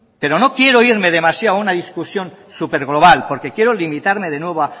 pero no quiero irme demasiado a una discusión súper global porque quiero limitarme de nuevo